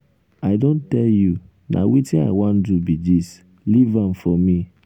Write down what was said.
i don tell you na wetin i wan do be dis leave am for me.